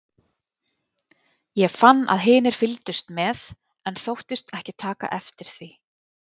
Ég fann að hinir fylgdust með, en þóttist ekki taka eftir því.